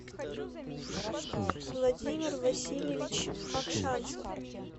владимир васильевич макшанцев